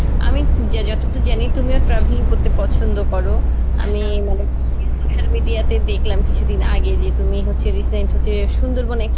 আমি যা~ যতদুর জানি তুমিও travelling করতে পছন্দ করো আমি social media তে দেখলাম কিছুদিন আগে যে তুমি হচ্ছে recent হচ্ছে সুন্দরবনে একটা,